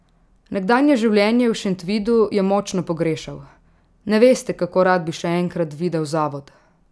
Nekdanje življenje v Šentvidu je močno pogrešal: "Ne veste, kako rad bi še enkrat videl zavod ...